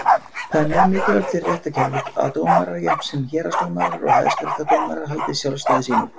Það er mjög mikilvægt fyrir réttarkerfið að dómarar, jafnt héraðsdómarar og Hæstaréttardómarar, haldi sjálfstæði sínu.